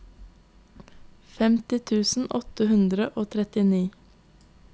femti tusen åtte hundre og trettini